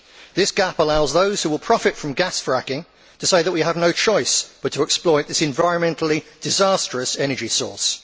This gap allows those who will profit from gas fracking to say that we have no choice but to exploit this environmentally disastrous energy source.